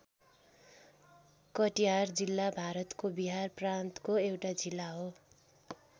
कटिहार जिल्ला भारतको बिहार प्रान्तको एउटा जिल्ला हो।